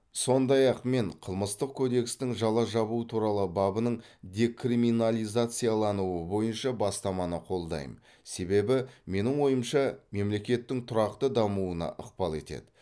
содай ақ мен қылмыстық кодекстің жала жабу туралы бабының декриминализациялануы бойынша бастаманы қолдаймын себебі менің ойымша мемлекеттің тұрақты дамуына ықпал етеді